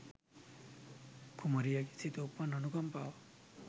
කුමරියගේ සිත උපන් අනුකම්පාව